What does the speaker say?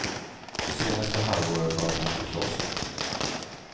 Det senaste halvåret har de bott på klostret.